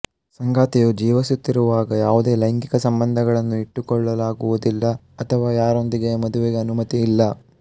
ಸಂಗಾತಿಯು ಜೀವಿಸುತ್ತಿರುವಾಗ ಯಾವುದೇ ಲೈಂಗಿಕ ಸಂಬಂಧಗಳನ್ನು ಇಟ್ಟುಕೊಳ್ಳಲಾಗುವುದಿಲ್ಲ ಅಥವಾ ಯಾರೊಂದಿಗೂ ಮದುವೆಗೆ ಅನುಮತಿ ಇಲ್ಲ